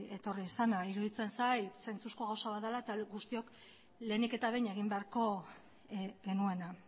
etorri izana iruditzen zait zentsuzko gauza bat dela eta guztiok lehenik eta behin egin beharko genuena